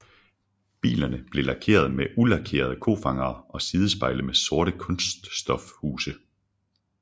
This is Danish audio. Bilerne blev leveret med ulakerede kofangere og sidespejle med sorte kunststofhuse